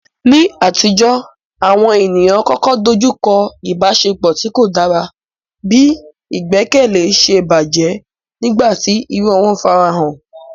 Ní àtijọ́, àwọn ènìyàn kọ̀ọ̀kan dojú kọ ìbáṣepọ̀ tí kò dára bí ìgbẹ́kẹ̀lé ṣe bàjẹ́ nígbà tí irọ́ wọn farahàn.